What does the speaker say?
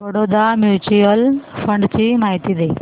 Baroda mutual fund ची माहिती दे